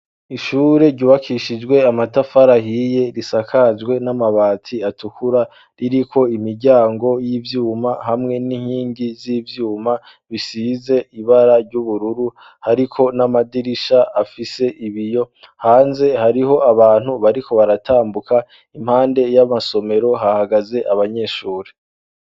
Ishure ryubakishijwe amatafari ahiye risakajwe n'amabati atukura ririko imiryango y'ivyuma hamwe n'inkingi z' ivyuma bisize ibara ry'ubururu, hariko n'amadirisha afise ibiyo. Hanze hariho abantu bariko baratambuka, impande y'amasomero hahagaze abanyeshuri.